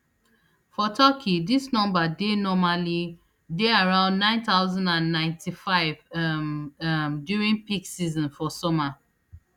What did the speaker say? for turkey dis number dey normally dey around nine thousand and ninety-five um um during peak season for summer